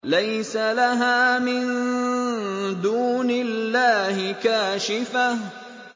لَيْسَ لَهَا مِن دُونِ اللَّهِ كَاشِفَةٌ